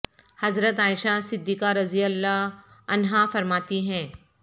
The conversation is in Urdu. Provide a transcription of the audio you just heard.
حضرت عائشہ صدیقہ رضی اللہ عنہا فرماتی ہیں